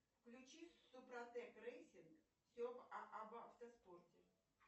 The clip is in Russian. включи супротек рейсинг все об автоспорте